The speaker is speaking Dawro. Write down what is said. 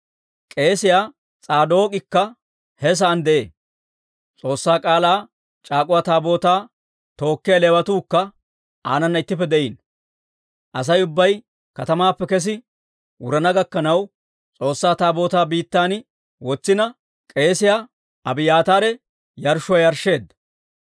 K'eesiyaa S'aadook'ikka he sa'aan de'ee; S'oossaa K'aalaa c'aak'uwa Taabootaa tookkiyaa Leewatuukka aanana ittippe de'iino. Asay ubbay katamaappe kes wurana gakkanaw, S'oossaa Taabootaa biittan wotsina, k'eesiyaa Abiyaataare yarshshuwaa yarshsheedda.